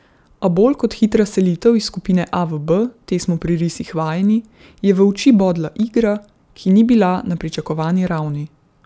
A bolj kot hitra selitev iz skupine A v B, te smo pri risih vajeni, je v oči bodla igra, ki ni bila na pričakovani ravni.